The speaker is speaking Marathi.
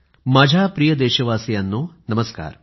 माझ्या प्रिय देशवासियांनो नमस्कार